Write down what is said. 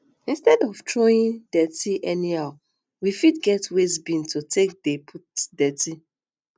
instead of throwing dirty anyhow we fit get waste bin to take dey put dirty